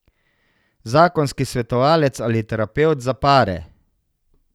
Zakonski svetovalec ali terapevt za pare.